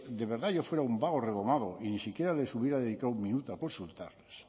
de verdad yo fuera un vago redomado y ni siquiera les hubiera dedicado un minuto a consultarles